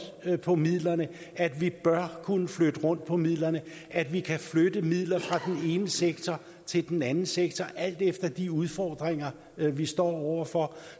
på midlerne at vi bør kunne flytte rundt på midlerne at vi kan flytte midler fra den ene sektor til den anden sektor alt efter de udfordringer vi står over for